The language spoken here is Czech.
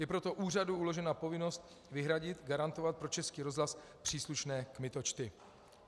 Je proto úřadu uložena povinnost vyhradit, garantovat pro Český rozhlas příslušné kmitočty.